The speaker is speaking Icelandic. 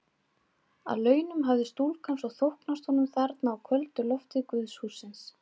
Að launum hafði stúlkan svo þóknast honum þarna á köldu lofti guðshússins.